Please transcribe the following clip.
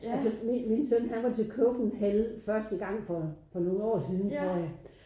Altså min søn han var til Copenhell første gang for for nogle år siden tror jeg